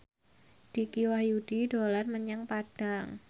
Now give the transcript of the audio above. Dicky Wahyudi dolan menyang Padang